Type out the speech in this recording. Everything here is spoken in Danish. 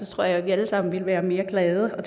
tror jeg vi alle sammen ville være mere glade og